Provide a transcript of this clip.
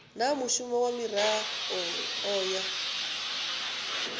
na mushumo kha miraḓo ya